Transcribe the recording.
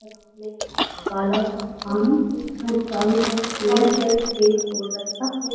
काला सा पानी है और चारों तरफ पेड़ है इसके और रस्ता है।